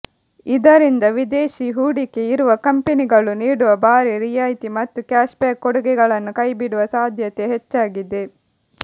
ಇದರಿಂದ ವಿದೇಶಿ ಹೂಡಿಕೆ ಇರುವ ಕಂಪನಿಗಳು ನೀಡುವ ಭಾರಿ ರಿಯಾಯ್ತಿ ಮತ್ತು ಕ್ಯಾಷ್ಬ್ಯಾಕ್ ಕೊಡುಗೆಗಳನ್ನು ಕೈಬಿಡುವ ಸಾಧ್ಯತೆ ಹೆಚ್ಚಾಗಿದೆ